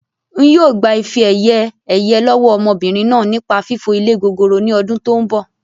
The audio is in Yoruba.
N yii o gbà ife-ẹ̀yẹ̀ ẹyẹ lọ́wọ́ ọmọbìnrin náà nípa fífo ilé gogoro ni ọdún tòun bọ̀